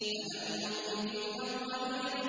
أَلَمْ نُهْلِكِ الْأَوَّلِينَ